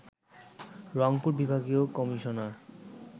রংপুর বিভাগীয় কমিশনার